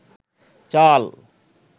চাল